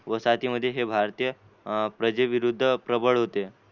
वसाहतीमध्ये हे भारतीय प्रजेविरुद्ध प्रबळ होते.